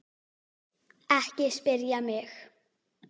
Ekki spyrja mig.